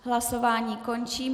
Hlasování končím.